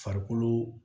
Farikolo